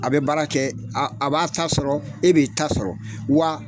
A bɛ baara kɛ a a b'a ta sɔrɔ, e b'i ta sɔrɔ, wa